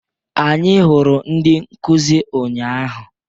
Anyị hụrụ ndị nkuzi ụnyaahụ.